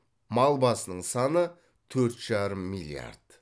мал басының саны төрт жарым миллиард